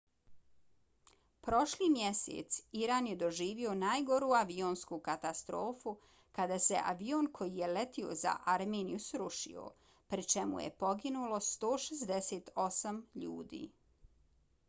prošli mjesec iran je doživio najgoru avionsku katastrofu kada se avion koji je letio za armeniju srušio pri čemu je poginulo 168 ljudi